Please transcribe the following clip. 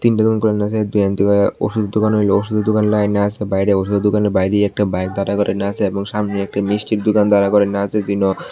ওষুধ দোকান ওষুধের দোকানে লাইনে আছে বাইরে ওষুধের দোকানের বাইরেই একটা বাইক দাঁড়া করাইন্য আছে এবং সামনে একটি মিষ্টির দোকান দাঁড়া করাইন্য আছে যিনি আঃ--